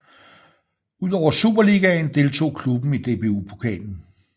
Udover Superligaen deltog klubben i DBU Pokalen